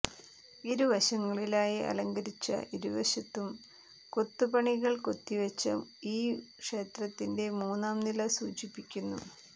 ഇരുവശങ്ങളിലായി അലങ്കരിച്ച ഇരുവശത്തും കൊത്തുപണികൾ കൊത്തിവച്ച ഈ ക്ഷേത്രത്തിന്റെ മൂന്നാം നില സൂചിപ്പിക്കുന്നു